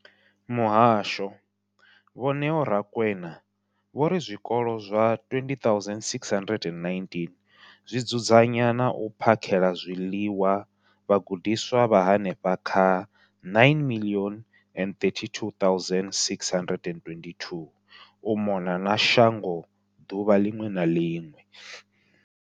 Muhasho, Vho Neo Rakwena, vho ri zwikolo zwa 20 619 zwi dzudzanya na u phakhela zwiḽiwa vhagudiswa vha henefha kha 9 032 622 u mona na shango ḓuvha ḽiṅwe na ḽiṅwe.